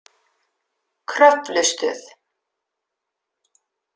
Kröflustöð